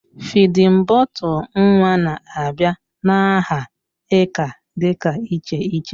Fịdin bọtul nwa na-abịa n'aha ika dị iche iche